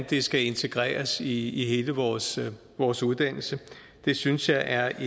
det skal integreres i i hele vores vores uddannelsessystem det synes jeg er